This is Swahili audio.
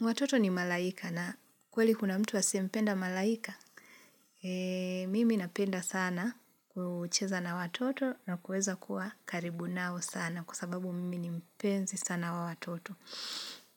Watoto ni malaika na kweli kuna mtu wa asiyempenda malaika? Mimi napenda sana kucheza na watoto na kuweza kuwa karibu nao sana kwa sababu mimi ni mpenzi sana wa watoto.